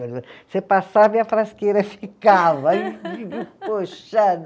Você passava e a frasqueira ficava. puxando